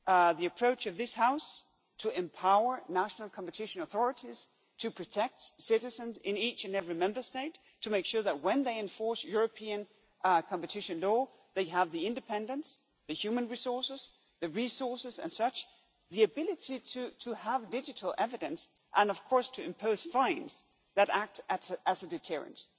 The approach of this House is to empower national competition authorities to protect citizens in each and every Member State, to make sure that, when they enforce European competition law, they have the independence, the human resources, the resources and ability to have digital evidence, and of course to impose fines that act as a deterrent.